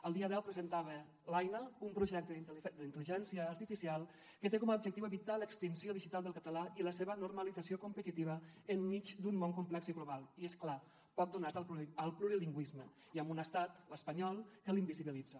el dia deu presentava l’aina un projecte d’intel·ligència artificial que té com a objectiu evitar l’extinció digital del català i la seva normalització competitiva enmig d’un món complex i global i és clar poc donat al plurilingüisme i amb un estat l’espanyol que l’invisibilitza